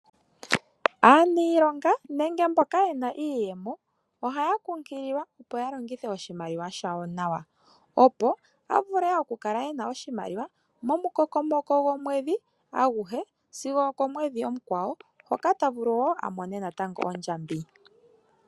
Aaniilonga nenge mboka yena iiyemo ohaya kunkililwa, opo ya longithe oshimaliwa shawo nawa, opo ya vule oku kala yena oshimaliwa momukokomoko gomwedhi aguhe sigo oko mweedhi omukwawo hoka ta vulu oku mona natango ondjambi.